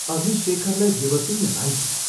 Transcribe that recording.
अघि शेखरलाई देवतुल्य मान्थी।